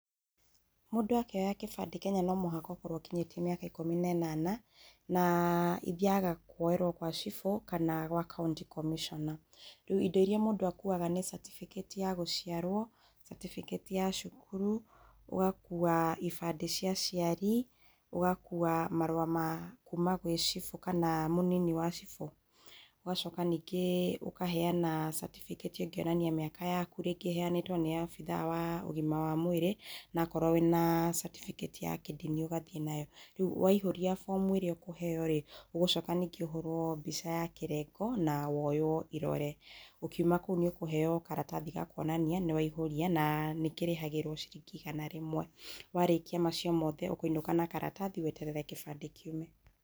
Mũndũ akĩoya kĩbande Kenya nomũhaka ũkorwo ũkinyĩtie mĩaka ikũmi na ĩnana na ithiaga kwoerwo gwa cibũ gwa county commissioner indo irĩa akuaga nĩ certificate ya gũciarwo certificate ya cukuru ũgakua ibande igĩrĩa cia aciari, ũgakua marũa ma kuuma gwĩ cibũ kana mũnini wa cibũ ũgacoka ningĩ[ĩĩ]ukaheana certificate ya kũonania mĩaka yaku ningĩ ũneane nĩ abitha wa ũgima wa mwĩrĩ na wakorwo wĩna certificate ya kindini ugathiĩ nayo rĩu waihũrĩa fomu ĩrĩa ũkũheo rĩ ũgucoka rĩngĩ ũhũrwo mbica ya kĩrengo na woyo irore ũkiuma kũu nĩũkuheo karatathi ga kwonania nĩwaihũria na[uhh]nĩkĩrĩhagĩrwo ciringi igana rĩmwe warĩkia macio mothe ũkũinũka na karatathi weterere kĩbande kĩume.